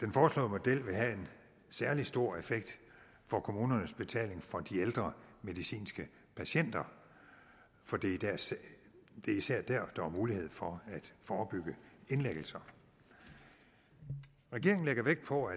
den foreslåede model vil have en særlig stor effekt for kommunernes betaling for de ældre medicinske patienter for det er især der hvor der er mulighed for at forebygge indlæggelser regeringen lægger vægt på